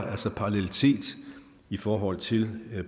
altså parallelitet i forhold til